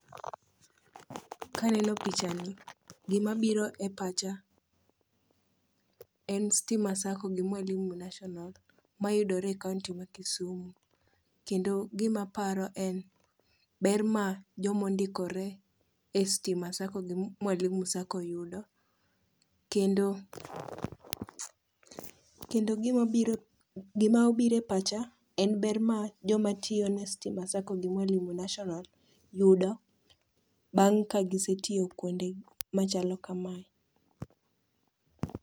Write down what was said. Kaneno picha ni, gimabiro e pacha en Stima Sacco gi Mwalimu National, mayudore e kaonti ma Kisumu. Kendo gimaparo en ber ma jomondikore e Stima Sacco gi Mwalimu Sacco yudo. Kendo gima obiro e pacha en ber ma jomtiyo ne Stima Sacco gi Mwalimu National yudo, bang' ka gisetiyo kwonde machalo kamae.